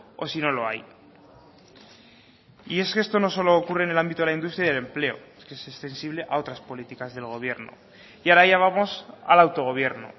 o si no lo hay y es que esto no solo ocurre en el ámbito de la industria y el empleo es que es extensible a otras políticas del gobierno y ahora ya vamos al autogobierno